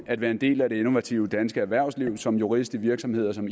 at være en del af det innovative danske erhvervsliv som jurist i virksomheder som